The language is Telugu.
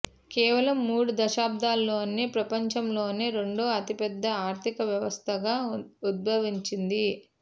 కేవలం మూడు దశాబ్ధాల్లోనే ప్రపంచంలోనే రెండో అతిపెద్ద ఆర్థిక వ్యవస్థగా ఉద్భవించింది